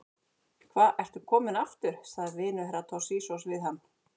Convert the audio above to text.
Hva ertu kominn aftur, sagði vinur Herra Toshizoz við hann.